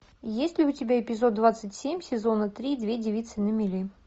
есть ли у тебя эпизод двадцать семь сезона три две девицы на мели